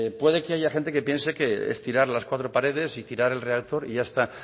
puede que haya gente que piense que es tirar las cuatro paredes y tirar el reactor y ya está